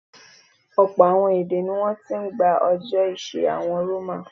Ọ̀pọ̀ àwọn èdè ní wọ́n ti ń gbà ọjọ́ ọ̀sẹ̀ àwọn Roman.